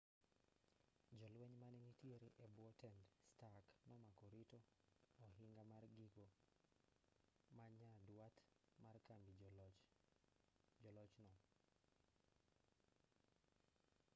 jolweny manenitiere e bwo tend stark nomako rito ohinga mar giko ma nyandwat mar kambi jo-loch no